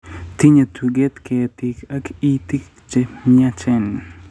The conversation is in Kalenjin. Tinyei tuget, keetiik ak itiik che myachen.